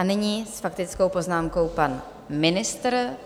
A nyní s faktickou poznámkou pan ministr.